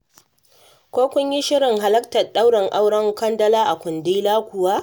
Ko kun yi shirin halartar ɗaurin auren Kandala a Kundila kuwa.